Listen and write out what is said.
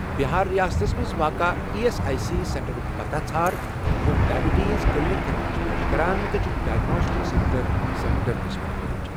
بِہار رِیاستس مَنٛز واقع ایی ایس آٮٔۍ سی سینٹرُک پتاہ ژھار یِم ڈایبِٹیٖز کلینِک خدمت چھِ پیش کران تہٕ چھکھ ڈایگناسٹِکس سیٚنٛٹر سینٹر قٕسمٕکۍ پٲٹھۍ